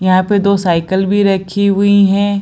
यहाँ पे दो साईकल भी रखी हुई है।